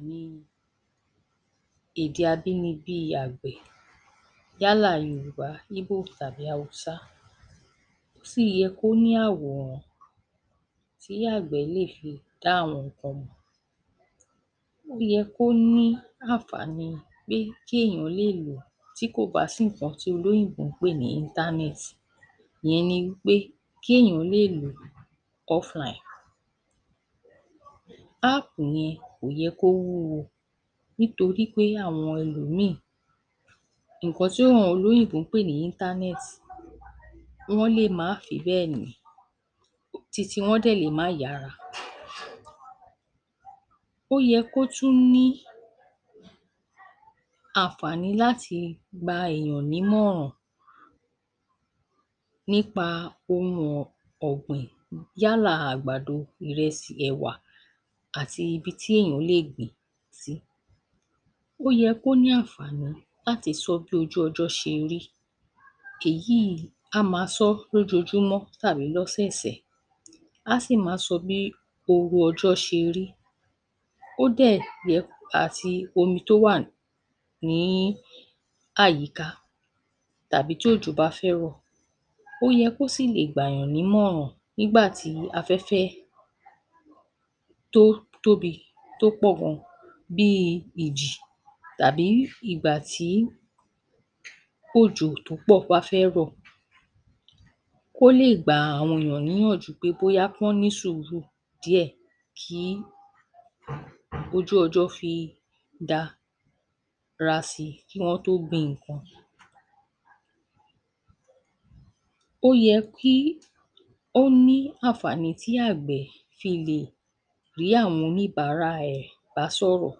um Èdè abínibí àgbẹ̀ yálà Yorùbá, Yíbò tàbí Haúsá. Ó sì yẹ kó ní àwòrán tí àgbẹ̀ lè fi dá àwọn nǹkan mọ̀. Ó yẹ kó ní ànfààní pé kéèyàn lé lò ó tí kò bá sí nǹkan tí olóyìnbó ń pè ní íńtánẹ́ẹ̀tì. Ìyẹn ni í pé kéèyàn lé lò ó ọ́flaìn. Áàpù yẹn kò yẹ kó wúwo nítorí pé àwọn ẹlòmíìn nǹkan tí ówọn olóyìnbó ń pè ní íńtánẹ́ẹ̀tì, wọ́n lè má fi bẹ́ẹ̀ ní, ti tiwọn dẹ̀ lé má yára. Ó yẹ kó tún ní ànfààní láti gba èèyàn nímọ̀ràn nípa ohun ọ̀...ọ̀gbìn, yálà àgbàdo, ìrẹsì, ẹ̀wà, àti ibi tí èèyàn lè gbín ín sí. Ó yẹ kó ní ànfààní láti sọ bí ojú ọjọ́ se rí. Èyíì á máa sọ lójoojúmọ́ tàbí lọ́sẹ̀sẹ̀, á sì máa sọ bí ooru ọjọ́ ṣe rí. Ó dẹ̀ yẹ...àti omi tó wà níí àyíká tàbí tí òjò bá fẹ́ rọ̀. Ó yẹ kó sì le gba ènìyàn nímòràn nígbà tí afẹ́fẹ́ tó tóbi tó pọ̀ gan bíi ìjì tàbí ìgbà tí òjò tó pọ̀ bá fẹ́ rọ̀. Kó lè gbàa àwọn ènìyàn níyànjú bóyá kí wọn ní sùúrù díẹ̀ kí ojú ọjọ́ fi da...ra sí i kí wọ́n tó gbin nǹkan. Ó yẹ kí ó ní ànfààní tí àgbẹ̀ fi lè rí àwọn oníbàárà ẹ̀ bá ṣọ̀rọ̀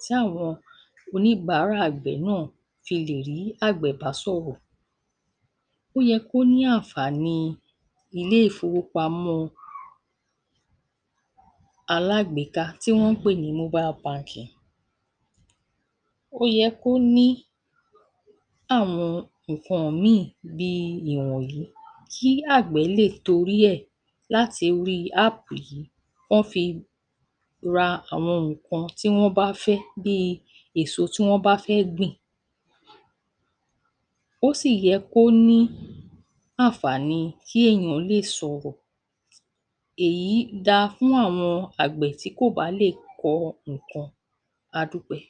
tí àwọn oníbàárà àgbẹ̀ náà fi lè rí àgbẹ̀ bá sọ̀rọ̀. Ó yẹ kó ní ànfààníi iléèfowópamọ́ alágbèéká tí wọ́n ń pè ní móbái bankìn. Ó yẹ kó ní àwọn nǹkan mìíìn bíi ìwọ̀n yìí kí àgbẹ̀ le torí ẹ̀ látorí áàpù yìí kán an fi ra àwọn nǹkan tí wọ́n bá fẹ́ bíi èso tí wọ́n bá fẹ́ gbìn. Ó sì yẹ kó ní ànfààní kí èèyàn lè sọ̀rọ̀. Èyí da fún àwọn àgbẹ̀ tí kò bá lè kọ nǹkan. A dúpẹ́.